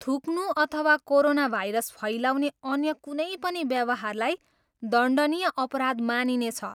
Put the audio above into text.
थुक्नु अथवा कोरोनाभाइरस फैलाउने अन्य कुनै पनि व्यवहारलाई दण्डनीय अपराध मानिनेछ।